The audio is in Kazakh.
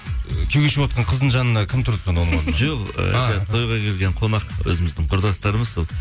ы күйеуге шығып отырған қыздың жанына кім тұрды сонда оның орнына жоқ тойға келген қонақ өзіміздің құрдастарымыз сол